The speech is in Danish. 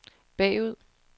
bagud